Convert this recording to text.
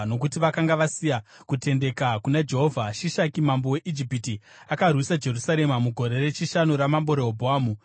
Nokuti vakanga vasina kutendeka kuna Jehovha, Shishaki mambo weIjipiti akarwisa Jerusarema mugore rechishanu ramambo Rehobhoamu.